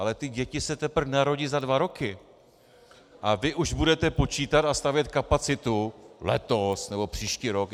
Ale ty děti se teprve narodí za dva roky a vy už budete počítat a stavět kapacitu letos nebo příští rok.